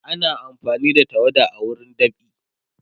ana amfani da tawada a wurin dab'i